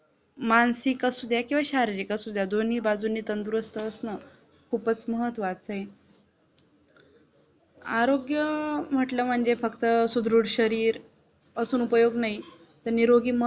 मानसिक असुद्या किंवा शारीरिक असुद्या दोन्ही बाजूनी तंदुरुस्त असणं खूपच महत्वाचं आहे आरोग्य म्हटलं म्हणजे फक्त सुधृढ शरीर असून उपयोग नाही तर निरोगी मन